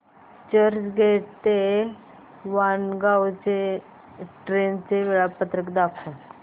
चर्चगेट ते वाणगांव ट्रेन चे वेळापत्रक दाखव